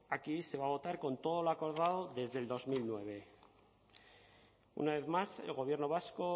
aquí se va a votar con todo lo acordado desde el dos mil nueve una vez más el gobierno vasco